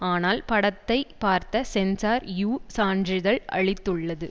ஆனால் படத்தை பார்த்த சென்சார் யு சான்றிதழ் அளித்துள்ளது